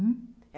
Hã?